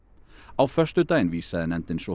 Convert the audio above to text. á föstudaginn vísaði nefndin svo